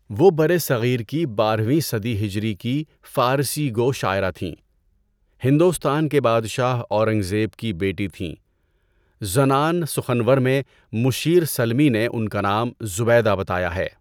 وہ برصغیر کی بارہویں صدی ہجری کی فارسی گو شاعرہ تھیں۔ ہندوستان کے بادشاہ اورنگزیب کی بیٹی تھیں۔ زنان سخنور میں مشیر سلمی نے ان کا نام زبیدہ بتایا ہے۔